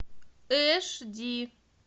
эш ди